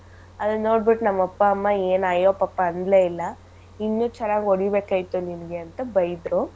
ಅದನ್ ನೋಡ್ಬಿಟ್ ನಮ್ ಅಪ್ಪ ಅಮ್ಮ ಏನ್ ಅಯ್ಯೋ ಪಪ್ಪ ಅನ್ಲೆ ಇಲ್ಲ ಇನ್ನೂ ಚೆನ್ನಾಗ್ ಹೊಡಿಬೇಕಾಗಿತ್ತು ನಿನಗೆ ಅಂತ ಬೈದ್ರು.